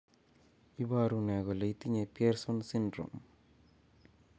iporu ne kole itinye Pierson syndrome?